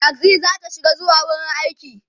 taxi zata shiga zuwa wurin aiki